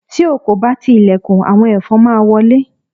ti o ko ba ti ilẹkùn, awọn ẹfọn ma wọlé